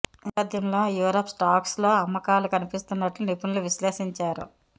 ఈ నేపథ్యంలో యూరప్ స్టాక్స్లో అమ్మకాలు కనిపిస్తున్నట్లు నిపుణులు విశ్లేషించారు